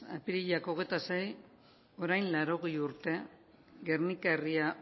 apirilak hogeita sei orain laurogei urte gernika herria